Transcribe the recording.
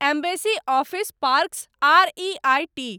embassy Office Parks R E I T